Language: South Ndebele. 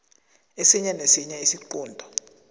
esinye nesinye isiqunto